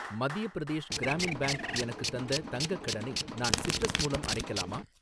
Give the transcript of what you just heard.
மத்திய பிரதேஷ் கிராமின் பேங்க் எனக்குத் தந்த தங்கக் கடனை நான் சிட்ரஸ் மூலம் அடைக்கலாமா?